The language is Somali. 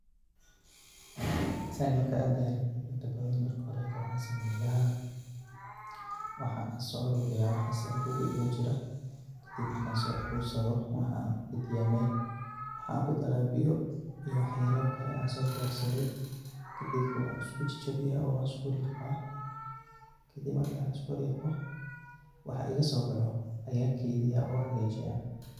Taani markad diyaarini inta badan marka hore waxan sameeya waxan soo aruriya waxas andhowga igu jira, kadib markan soo aruriyo waxan kurida Mel waxan kudara biiyo iyo wax yalo kale an soo diyarsadey kadib wan isku jejibiya oo wan isku riqaa, kadib markan isku riqo waxa igaso baxo ayan keydiya on hagajiya